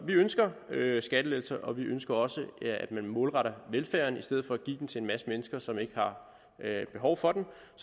vi ønsker skattelettelser og vi ønsker også at man målretter velfærden i stedet for at give den til en masse mennesker som ikke har behov for den